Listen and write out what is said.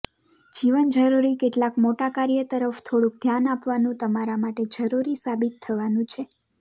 જીવન જરૂરી કેટલાક મોટા કાર્ય તરફ થોડુક ધ્યાન આપવાનું તમારા માટે જરૂરી સાબિત થવાનું છે